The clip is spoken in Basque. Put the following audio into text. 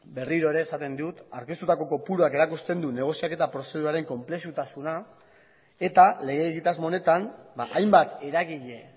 berriro ere esaten dut aurkeztutako kopuruak erakusten du negoziaketa prozeduraren konplexutasuna eta lege egitasmo honetan hainbat eragile